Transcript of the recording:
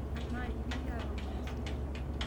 amaa endimi atoomon esile?